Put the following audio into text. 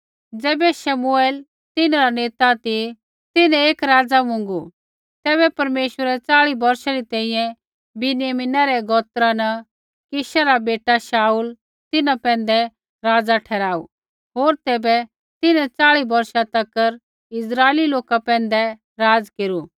ज़ैबै शमुएल तिन्हरा नेता ती तिन्हैं एक राज़ा मुँगू तैबै परमेश्वरै च़ाल़ी बौर्षै री तैंईंयैं बिन्यामीनै रै गोत्रा न कीशा रा बेटा शाऊल तिन्हां पैंधै राज़ा ठहराऊ होर तैबै तिन्हैं चाल़ी बौर्षा तक इस्राइली लोका पैंधै राज़ केरू